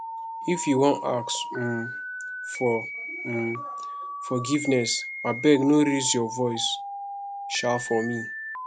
if you wan ask um for um forgiveness abeg no raise your voice um for me